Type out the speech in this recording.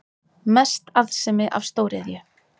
Mest arðsemi af stóriðju